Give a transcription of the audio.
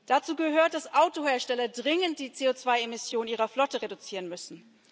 Dazu gehört, dass Autohersteller dringend die CO2 Emissionen ihrer Flotte reduzieren müssen.